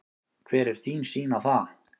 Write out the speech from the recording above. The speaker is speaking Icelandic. Hver er þín sýn á það?